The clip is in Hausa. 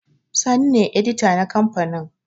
Sani ne edita na kamfanin